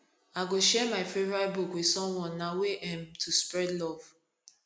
i go share my favorite book with someone na way um to spread love